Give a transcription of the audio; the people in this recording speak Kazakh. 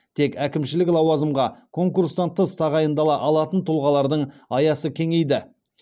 тек әкімшілік лауазымға конкурстан тыс тағайындала алатын тұлғалардың аясы кеңейді